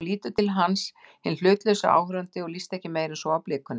Hún lítur til hans, hinn hlutlausi áhorfandi, og líst ekki meira en svo á blikuna.